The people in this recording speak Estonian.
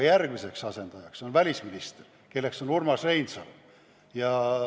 Järgmiseks asendajaks on välisminister, kes on Urmas Reinsalu.